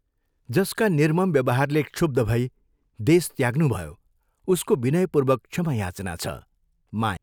जसका निर्मम व्यवहारले क्षुब्ध भई देश त्याग्नुभयो उसको विनयपूर्वक क्षमा याचना छ, माया।